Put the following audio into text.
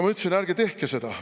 Mina ütlesin: "Ärge tehke seda.